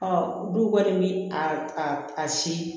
du kɔni bi a si